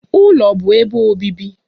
Ụlọ bụ ebe obibi